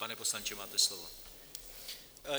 Pane poslanče, máte slovo.